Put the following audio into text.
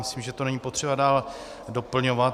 Myslím, že to není potřeba dál doplňovat.